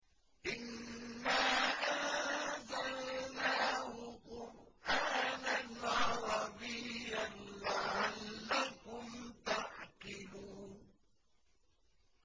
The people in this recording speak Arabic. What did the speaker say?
إِنَّا أَنزَلْنَاهُ قُرْآنًا عَرَبِيًّا لَّعَلَّكُمْ تَعْقِلُونَ